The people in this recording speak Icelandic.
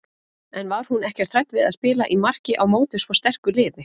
En var hún ekkert hrædd við að spila í marki á móti svo sterku liði?